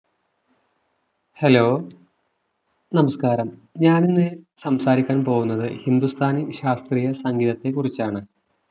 hello നമസ്കാരം ഞാനിന്ന് സംസാരിക്കാൻ പോകുന്നത് ഹിന്ദുസ്ഥാനി ശാസ്ത്രീയ സംഗീതത്തെക്കുറിച്ചാണ്